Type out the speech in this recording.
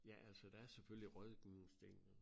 Ja altså der er selvfølgelig rådgivningsdelen